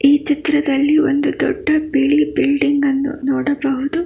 ಈ ಚಿತ್ರದಲ್ಲಿ ಒಂದು ದೊಡ್ಡ ಬಿಳಿ ಬಿಲ್ಡಿಂಗ್ ಅನ್ನು ನೋಡಬಹುದು.